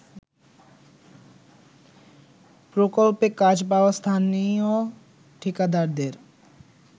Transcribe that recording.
প্রকল্পে কাজ পাওয়া স্থানীয় ঠিকাদারদের